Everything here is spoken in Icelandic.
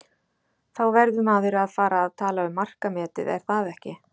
Þá verður maður að fara að tala um markametið, er það ekki?